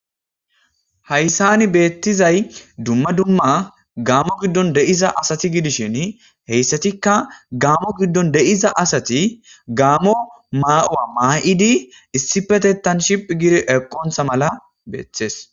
Haysani Betizay dumma dumma Gamo gidon de'iza asati gidishin heysetikka Gamo gidon de'iza asati Gamo mauwa ma'idi issippetetan shiphphi giidi ekoysa mala beetes